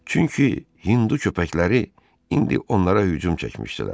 Çünki Hindu köpəkləri indi onlara hücum çəkmişdilər.